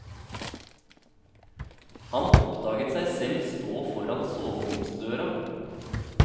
Han oppdaget seg selv stå foran soveromsdøra.